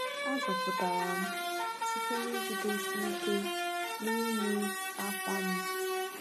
A zọpụtara m site n’ijidesi ike n’ime akwa m.